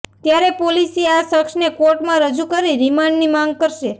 ત્યારે પોલીસે આ શખ્સને કોર્ટમાં રજૂ કરી રિમાન્ડની માગ કરશે